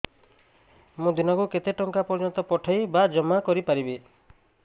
ମୁ ଦିନକୁ କେତେ ଟଙ୍କା ପର୍ଯ୍ୟନ୍ତ ପଠେଇ ବା ଜମା କରି ପାରିବି